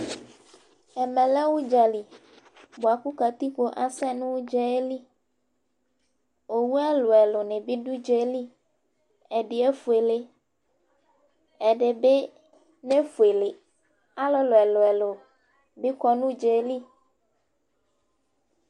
Ɛmɛ lɛ ʋdzali bʋakʋ katikpp azɛ nʋ ʋdza yɛ liOwu ɛlʋɛlʋ nɩ bɩ dʋ ʋdza yɛ li:ɛdɩ efuele, ɛdɩ bɩ ne fueleAlʋlʋ ɛlʋɛlʋ bɩ kɔ nʋ ʋdza yɛ li